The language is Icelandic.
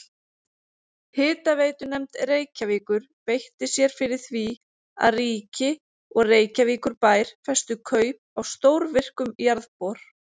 Hitaveitunefnd Reykjavíkur beitti sér fyrir því að ríki og Reykjavíkurbær festu kaup á stórvirkum jarðbor.